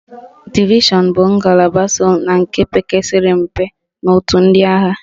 Divishọn bụ ngalaba so na nke pekarịsịrị mpe n'otu ndị agha.